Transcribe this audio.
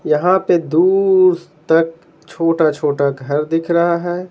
यहां पे दूर तक छोटा-छोटा घर दिख रहा है।